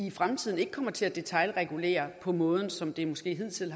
i fremtiden kommer til at detailregulere på den måde som det måske hidtil